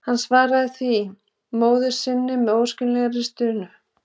Hann svaraði því móður sinni með óskiljanlegri stunu.